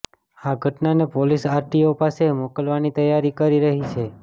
આ ઘટનાને police RTO પાસે મોકલવાની તૈયારી કરી રહી છે